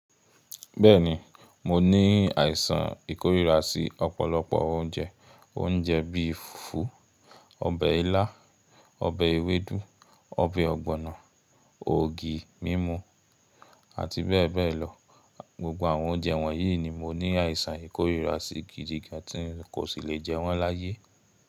Bẹ́ẹ̀ni, mo ní àìsàn ìkórìíra sí ọ̀pọ̀lọpọ̀ oúnjẹ. Oúnjẹ bí i fùfú, ọbẹ̀ ilá, ọbẹ̀ ewédú, ọbẹ̀ ọ̀gbọ̀nọ̀, ògì mímu àti bẹ́ẹ̀ bẹ́ẹ̀ lọ. Gbgbo àwọn oúnjẹ wọ̀nyí ni mo ní àìsàn ìkórìíra sí gidi gan tí n kò sí lè jẹ wọ́n láyé.